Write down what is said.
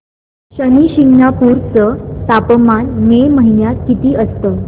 शनी शिंगणापूर चं तापमान मे महिन्यात किती असतं